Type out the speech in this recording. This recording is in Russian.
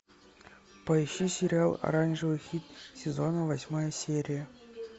поищи сериал оранжевый хит сезона восьмая серия